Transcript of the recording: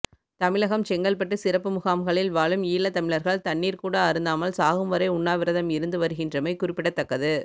தமிழகம் செங்கல்பட்டு சிறப்பு முகாம்களில் வாழும் ஈழத்தமிழர்கள் தண்ணீர் கூட அருந்தாமல் சாகும் வரை உண்ணாவிரதம் இருந்து வருகின்றமை குறிப்பிடத்தக்கது